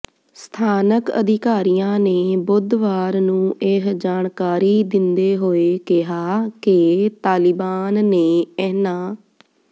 ਸਥਾਨਕ ਅਧਿਕਾਰੀਆਂ ਨੇ ਬੁੱਧਵਾਰ ਨੂੰ ਇਹ ਜਾਣਕਾਰੀ ਦਿੰਦੇ ਹੋਏ ਕਿਹਾ ਕਿ ਤਾਲਿਬਾਨ ਨੇ ਇਨ੍ਹਾਂ